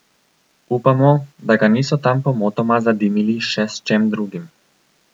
Upamo, da ga niso tam pomotoma zadimili še s čem drugim.